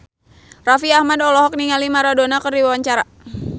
Raffi Ahmad olohok ningali Maradona keur diwawancara